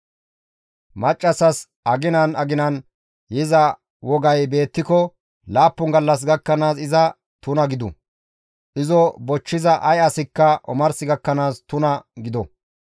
«Maccassas aginan aginan yiza wogay beettiko laappun gallas gakkanaas iza tuna gidu; izo bochchiza ay asikka omars gakkanaas tuna gido.